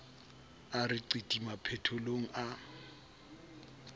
a re qiti maphethelong a